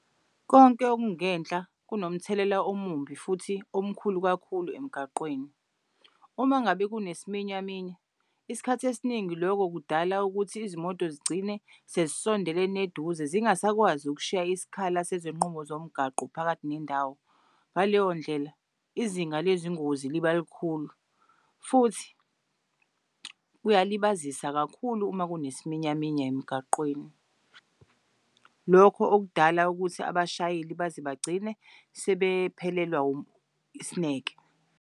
Konke okungenhla kunomthelela omumbi futhi omkhulu kakhulu emgaqweni. Umangabe kunesiminyaminya isikhathi esiningi lokho kudala ukuthi izimoto zigcine sezisondelene eduze zingasakwazi ukushiya isikhala sesinqumo zomgwaqo phakathi nendawo. Ngaleyo ndlela izinga lezingozi liba likhulu futhi kuyalibazisa kakhulu uma kunesiminyaminya emgaqweni, lokhu okudala ukuthi abashayeli baze bagcine sebephelelwa isineke.